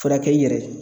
Furakɛ i yɛrɛ ye